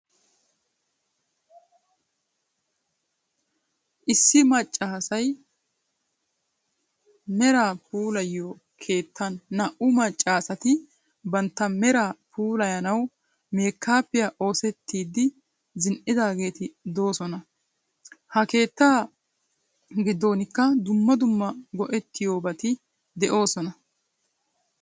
Issi maccasay meraa puullayiyoo keettaan naa'"u maccaageetti bantta meraa pulayanawu mekappiya oottissidi zi'idaageetti doosona. Ha keetta gidoonnikka dumma dumma go'etyiyobaatyi de'oosonna.